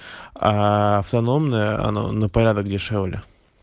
автономная на порядок дешевле